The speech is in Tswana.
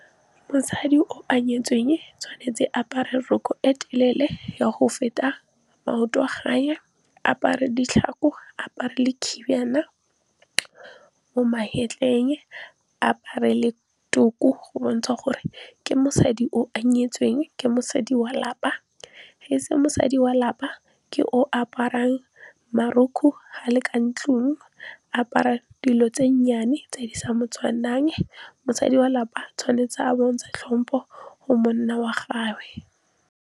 Mosadi o a nyetsweng tshwanetse apare roko e telele ya go feta maoto a gagwe. A apare ditlhako, apare le khinbana mo magetleng. A apare le tuku go bontsha gore ke mosadi o nyetsweng, ke mosadi wa lapa. Ge e se mosadi wa lapa, ke o aparang marokgwe, ga le ka ntlong a apara dilo tse nnyane, tse di sa mo tshwanang. Mosadi wa lapa tshwanetse a bontsha tlhompo go monna wa gagwe.